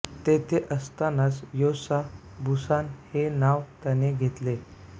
तेथे असतानाच Yosa Buson हे नाव त्याने घेतले